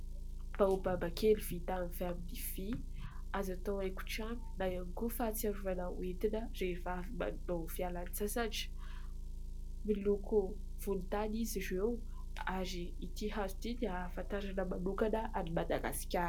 baobab kely vita avy amin'ny vy azo atao haingo-trano na iangoana fahatsiarovana hoentin'ny vehivavy miala sasatra miloko volontany izy ireo ary ity hazo ity dia hahafantarana manokana any madagasikara